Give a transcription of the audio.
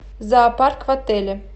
зоопарк в отеле